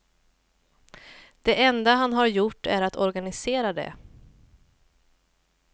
Det enda han har gjort är att organisera det.